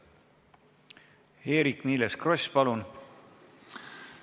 Eerik-Niiles Kross, palun!